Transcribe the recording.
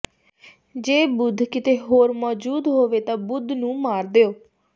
ਜੇ ਬੁੱਧ ਕਿਤੇ ਹੋਰ ਮੌਜੂਦ ਹੋਵੇ ਤਾਂ ਬੁੱਧ ਨੂੰ ਮਾਰ ਦਿਓ